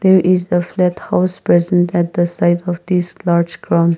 there is a house present at the side of this large ground.